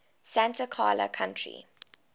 santa clara county